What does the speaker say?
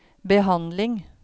behandling